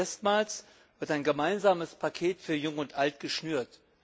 Erstmals wird ein gemeinsames Paket für Jung und Alt geschnürt.